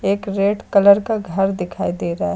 एक red colour का घर दिखाई दे रहा--